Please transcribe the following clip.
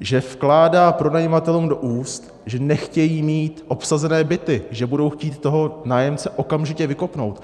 že vkládá pronajímatelům do úst, že nechtějí mít obsazené byty, že budou chtít toho nájemce okamžitě vykopnout.